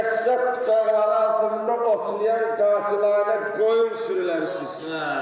Qəssab Canı ağlında otlayan qacılanan qoyun sürülərisiniz.